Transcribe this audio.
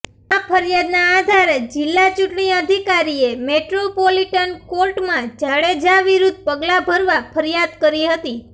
આ ફરિયાદના આધારે જિલ્લા ચૂંટણી અધિકારીએ મેટ્રોપોલિટન કોર્ટમાં જાડેજા વિરુદ્ધ પગલા ભરવા ફરિયાદ કરી હતી